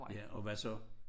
Ja og hvad så?